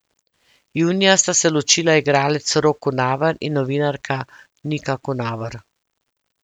Junija sta se ločila igralec Rok Kunaver in novinarka Nika Kunaver.